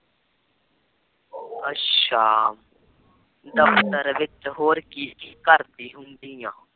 ਅੱਛਾ ਦਫਤਰ ਵਿੱਚ ਹੋਰ ਕੀ ਕੀ ਕਰਦੀ ਪਈ ਐ